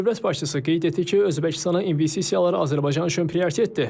Dövlət başçısı qeyd etdi ki, Özbəkistana investisiyalar Azərbaycan üçün prioritetdir.